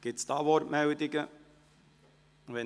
Gibt es Wortmeldungen hierzu?